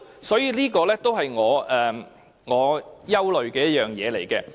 所以，這也是我憂慮的其中一點。